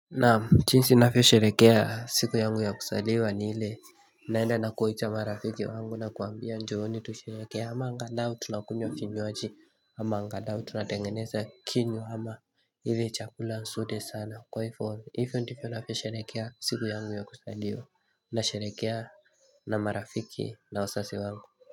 Naam jinsi ninavyosherehekea siku yangu ya kuzaliwa ni ile naenda na kuita marafiki wangu na kuambia njooni tushereheke ama angalau tunakunywa vinywaji ama angalau tunatengeneza kinywa ama ile chakula nzuri sana kwa hivyo hivyo ndivyo navyo sherehekea siku yangu ya kuzaliwa na sherehekea na marafiki na wazazi wangu.